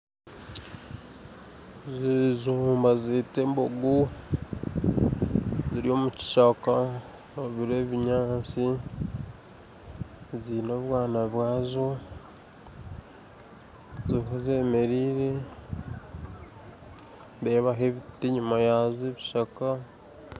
Ezo mbazeta embogo ziri omukishaka ebi n'ebinyantsi ziine obwaana bwazo ziriho zemereire nindebaho ebiti enyuma yazo ebishaka.